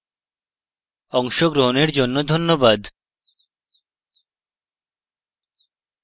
অংশগ্রহনের জন্যে ধন্যবাদ